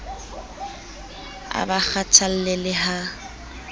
a ba kgathalle le ha